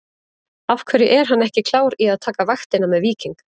Af hverju er hann ekki klár í að taka vaktina með Víking?